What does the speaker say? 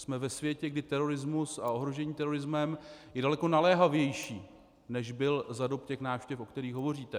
Jsme ve světě, kdy terorismus a ohrožení terorismem je daleko naléhavější, než byl za dob těch návštěv, o kterých hovoříte.